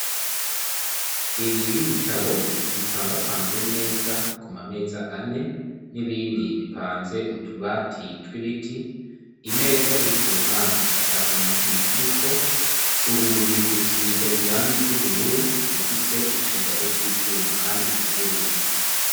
Inzu y'ibitabo bipangapanze neza ku mameza ane, n'ibindi bipanze mutubati twibiti, imeza iri ku ruhande atakira na kimwe kiriko urugi rusize irangi ry'ubururu rufise icugazo c'icuma, kandi guguruye.